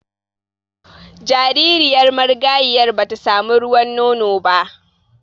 Jaririyar marigayiyar ba ta samu ruwan nono ba